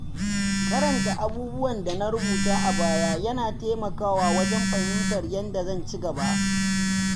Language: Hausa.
Karanta abubuwan da na rubuta a baya yana taimakawa wajen fahimtar yadda na ci gaba.